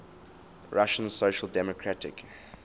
russian social democratic